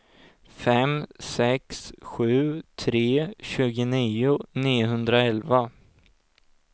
fem sex sju tre tjugonio niohundraelva